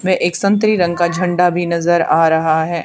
वे एक संतरी रंग का झंडा भी नजर आ रहा है।